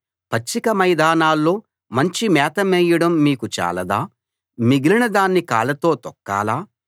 పచ్చిక మైదానాల్లో మంచి మేత మేయడం మీకు చాలదా మిగిలిన దాన్ని కాళ్ళతో తొక్కాలా